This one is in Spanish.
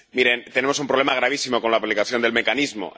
Miren, tenemos un problema gravísimo con la aplicación del mecanismo.